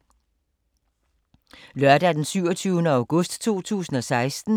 Lørdag d. 27. august 2016